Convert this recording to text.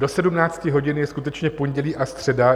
Do 17 hodin je skutečně pondělí a středa.